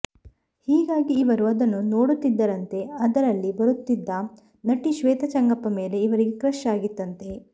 ಹೀಗಾಗಿ ಇವರು ಅದನ್ನು ನೋಡುತ್ತಿದ್ದರಂತೆ ಅದರಲ್ಲಿ ಬರುತ್ತಿದ್ದ ನಟಿ ಶ್ರೇತಾ ಚೆಂಗಪ್ಪ ಮೇಲೆ ಇವರಿಗೆ ಕ್ರಶ್ ಆಗಿತ್ತಂತೆ